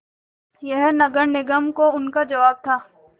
यह नगर निगम को उनका जवाब था